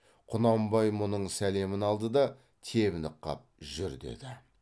құнанбай мұның сәлемін алды да тебініп қап жүр деді